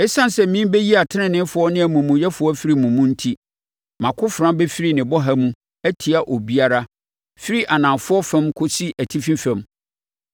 Esiane sɛ merebɛyi ateneneefoɔ ne amumuyɛfoɔ afiri mo mu enti, mʼakofena bɛfiri ne bɔha mu atia obiara, firi anafoɔ fam kɔsi atifi fam.